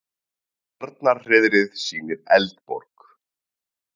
Arnarhreiðrið sýnir Eldborg